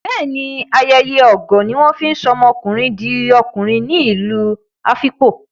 Bẹ́ẹ̀ ní, ayeye ogo ní wọ́n fi ń sọ ọmọkùnrin di okùnrin ní ìlú Afikpo.